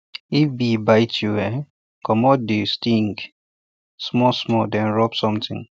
if bee bite um you um comot the um sting small small then rub something